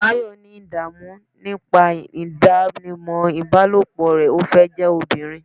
Tayo ní idamu nipa idanimọ ibalopo rẹ, o fẹ jẹ ọbirin